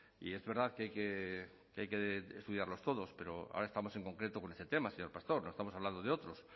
y es verdad que hay que estudiarlos todos pero ahora estamos en concreto con este tema señor pastor no estamos hablando de otros